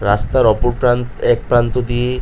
রাস্তার অপর প্রান্ত এক প্রান্ত দিয়ে--